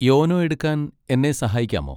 YONO എടുക്കാൻ എന്നെ സഹായിക്കാമോ?